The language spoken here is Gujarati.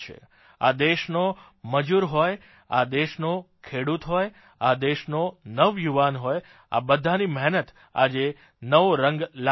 આ દેશનો મજૂર હોય આ દેશનો ખેડૂત હોય આ દેશનો નવુયુવાન હોય આ બધાની મહેનત આજે નવો રંગ લાવી રહી છે